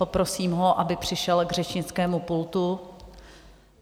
Poprosím ho, aby přišel k řečnickému pultu.